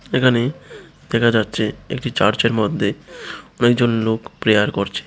এখানে দেখা যাচ্ছে একটি চার্চের মধ্যে অনেক জন লোক প্রেয়ার করছে।